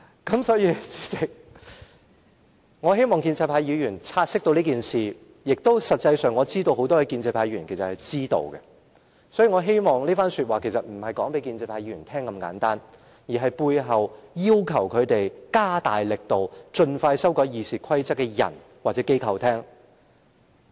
主席，我希望建制派議員察悉此事，我知道很多建制派議員其實是知道的，我這番話不只是要告知建制派議員，同時亦要告知背後要求他們加大力度盡快修訂《議事規則》的人或機構。